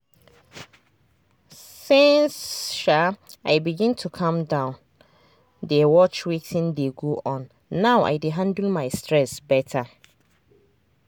since um i begin to calm down dey watch wetin dey go on now i dey handle my stress better.